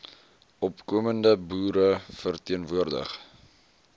opkomende boere verteenwoordig